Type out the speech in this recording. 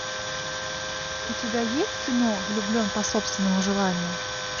у тебя есть кино влюблен по собственному желанию